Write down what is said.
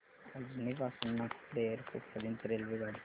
अजनी पासून नागपूर एअरपोर्ट पर्यंत रेल्वेगाडी